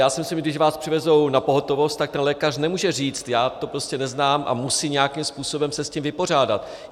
Já si myslím, když vás přivezou na pohotovost, tak ten lékař nemůže říct "já to prostě neznám" a musí nějakým způsobem se s tím vypořádat.